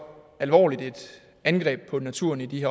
alvorligt et angreb på naturen i de